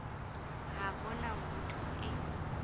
ha ho na motho e